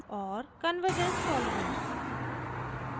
convergence tolerance